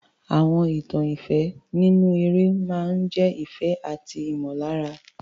Àwọn ìtàn ìfẹ́ nínú eré máa ń jẹ́ ìfẹ́ àti ìmọ̀lára.